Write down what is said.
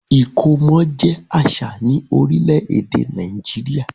Ìkómọ jẹ àṣà ni orílẹ̀-èdè Nàìjíríà.